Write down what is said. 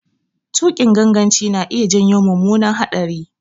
Tuƙin ganganci na iya janyo mummunar hatsari.